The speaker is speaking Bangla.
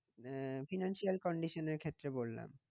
আহ financial condition এর ক্ষেত্রে বললাম।